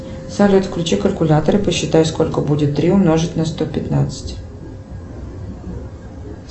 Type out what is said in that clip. салют включи калькулятор и посчитай сколько будет три умножить на сто пятнадцать